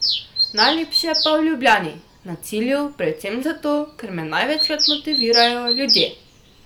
Najlepše pa je v Ljubljani na cilju, predvsem zato, ker me največkrat motivirajo ljudje.